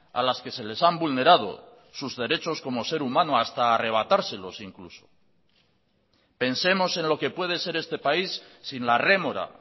a las que se les han vulnerado sus derechos como ser humano hasta arrebatárselos incluso pensemos en lo que puede ser este país sin la rémora